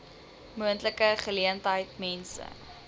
moontlike geleentheid mense